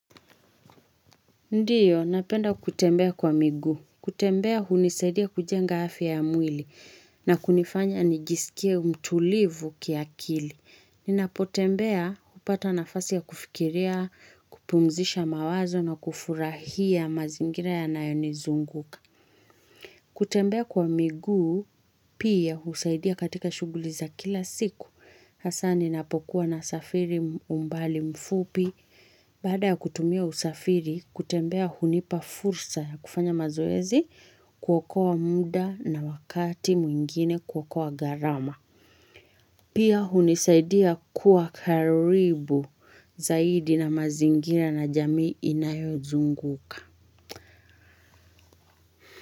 Ndiyo, napenda kutembea kwa miguu. Kutembea hunisaidia kujenga afya ya mwili na kunifanya nijisikie mtulivu kiakili. Ninapotembea hupata nafasi ya kufikiria, kupumzisha mawazo na kufurahia mazingira yanayonizunguka. Kutembea kwa miguu pia husaidia katika shughuli za kila siku. Hasaa ninapokuwa nasafiri umbali mfupi, baada ya kutumia usafiri, kutembea hunipa fursa ya kufanya mazoezi kuokoa muda na wakati mwingine kuokoa gharama. Pia hunisaidia kuwa karibu zaidi na mazingira na jamii inayozunguka.